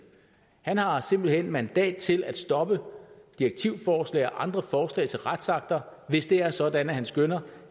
han har simpelt hen mandat til at stoppe direktivforslag og andre forslag til retsakter hvis det er sådan at han skønner